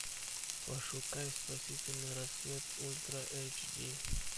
пошукай спасительный рассвет ультра эйч ди